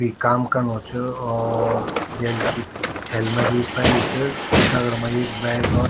कुई काम कनू च और जैल की हेलमेट भी पेर्युं च दगड मा एक बैग और --